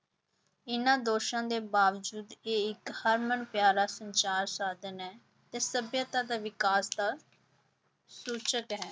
ਇਹਨਾਂ ਦੋਸ਼ਾਂ ਦੇ ਬਾਵਜੂਦ ਇਹ ਇੱਕ ਹਰਮਨ ਪਿਆਰਾ ਸੰਚਾਰ ਸਾਧਨ ਹੈ ਤੇ ਸਭਿਅਤਾ ਦਾ ਵਿਕਾਸ ਦਾ ਸੂਚਕ ਹੈ।